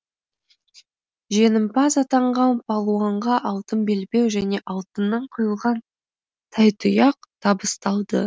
жеңімпаз атанған палуанға алтын белбеу және алтыннан құйылған тайтұяқ табысталды